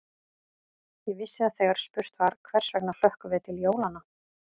Ég vissi að þegar spurt var: hvers vegna hlökkum við til jólanna?